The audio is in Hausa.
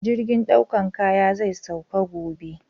Jirgin ɗaukan kaya zai sauka gobe